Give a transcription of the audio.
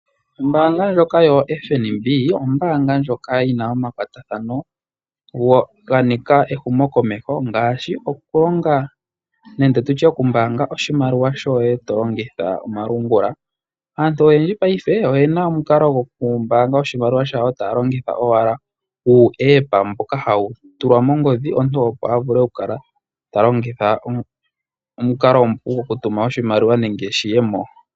Ombaanga ndjoka yoFNB, ombaanga ndjoka yina omakwatathano ganika ehumo komeho ngaashi nenge tutye okumbaanga oshimaliwa shoye to longitha omalungula. Aantu oyendji paife oyena omukalo gokumbaanga maliwa yawo taya longitha owala uupandja mboka hawu tulwa mongodhi omuntu opo a vule oku kala ta longitha omukalo omupu gokutuma oshimaliwa nenge shiye mo.